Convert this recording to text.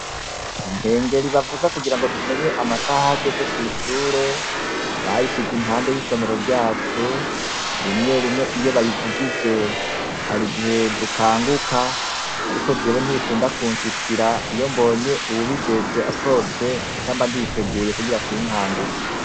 Ikengeri bavuza kugira tumenye amasaha ahageze kw'ishure, bayisize impande yisomero ryacu, rimwe rimwe iyo bayivugije harigihe dukanguka, ariko jewe ntibikunda kunshikira iyombonye uwubijejwe asohotse, nca mbanditeguye kugira sinkanguke.